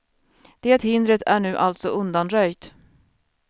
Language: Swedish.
Det hindret är nu alltså undanröjt.